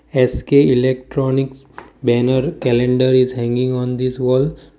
SK electronics banner calender is hanging on this wall.